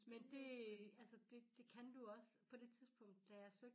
Men det altså det det kan du også på det tidspunkt da jeg søgte